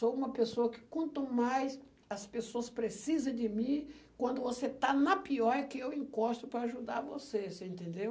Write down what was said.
Sou uma pessoa que, quanto mais as pessoas precisam de mim, quando você está na pior, é que eu encosto para ajudar você, você entendeu?